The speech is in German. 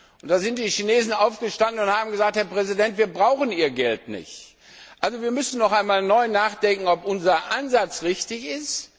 Und dann sind die Chinesen aufgestanden und haben gesagt Herr Präsident, wir brauchen Ihr Geld nicht. Wir müssen also noch einmal neu nachdenken, ob unser Ansatz richtig ist.